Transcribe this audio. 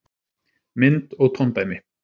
Mynd og tóndæmi: